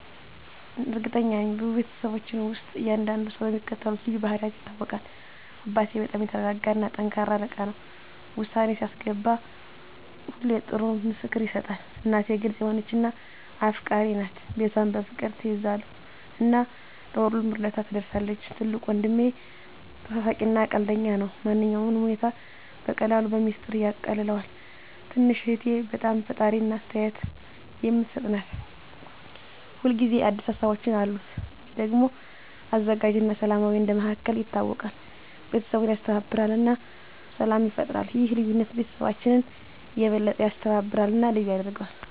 እርግጠኛ ነኝ፤ በቤተሰባችን ውስጥ እያንዳንዱ ሰው በሚከተሉት ልዩ ባህሪያት ይታወቃል - አባቴ በጣም የተረጋጋ እና ጠንካራ አለቃ ነው። ውሳኔ ሲያስገባ ሁሌ ጥሩ ምክር ይሰጣል። እናቴ ግልጽ የሆነች እና አፍቃሪች ናት። ቤቷን በፍቅር ትያዘው እና ለሁሉም እርዳታ ትደርሳለች። ትልቁ ወንድሜ ተሳሳቂ እና ቀልደኛ ነው። ማንኛውንም ሁኔታ በቀላሉ በሚስጥር ያቃልለዋል። ትንሽ እህቴ በጣም ፈጣሪ እና አስተያየት የምትሰጥ ናት። ሁል ጊዜ አዲስ ሀሳቦች አሉት። እኔ ደግሞ አዘጋጅ እና ሰላማዊ እንደ መሃከል ይታወቃለሁ። ቤተሰቡን ያስተባብራል እና ሰላም ይፈጥራል። ይህ ልዩነት ቤተሰባችንን የበለጠ ያስተባብራል እና ልዩ ያደርገዋል።